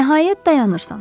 Nəhayət dayanırsan.